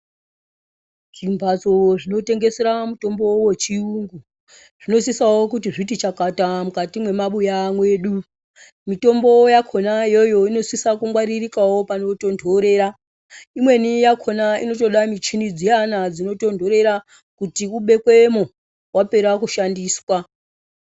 Zvimbatso zvinotengesera mutombo wechiyungu zvinosisawo kuti zviti chakata mukati mwemumabuya mwedu, mutombo yakhona iyoyo inosisa kungwaririkawo panotontorera imweni yakhona inotoda michini dziyana dzinotontorera kuti ubekwemwo wapera kushandiswa.